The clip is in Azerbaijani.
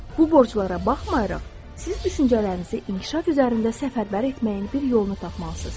Bu borclara baxmayaraq, siz düşüncələrinizi inkişaf üzərində səfərbər etməyin bir yolunu tapmalısınız.